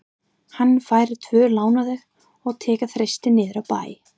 Hann fær tvo lánaða og tekur Þristinn niður í bæ.